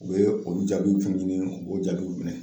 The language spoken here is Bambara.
U ye olu jaabiw kɛ n ɲɛnɛ k'o jaabiw minɛ